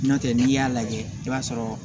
N'o tɛ n'i y'a lajɛ i b'a sɔrɔ